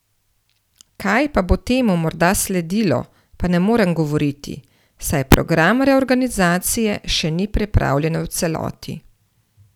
Kaj pa bo temu morda sledilo, pa ne morem govoriti, saj program reorganizacije še ni pripravljen v celoti.